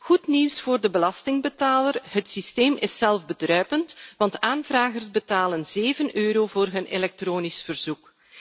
Goed nieuws voor de belastingbetaler het systeem is zelfbedruipend, want de aanvragers betalen 7 EUR voor hun elektronisch verzoek.